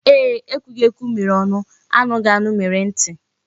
Ee ekwughiekwu mere onu, anughianu mere nti